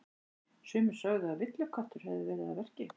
Sumir sögðu að villiköttur hefði verið að verki.